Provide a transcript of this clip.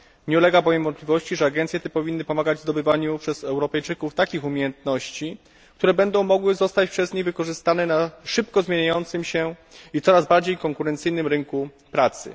Nie ulega bowiem wątpliwości, że agencje te powinny pomagać w zdobywaniu przez Europejczyków takich umiejętności, które będą mogły zostać przez nich wykorzystane na szybko zmieniającym się i coraz bardziej konkurencyjnym rynku pracy.